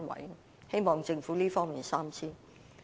我希望政府在這方面三思。